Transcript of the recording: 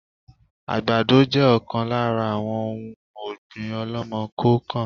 Àgbàdo jẹ ọ̀kan lára àwọn òun ọ̀gbín ọ̀lọ́mọ-kọọ-kan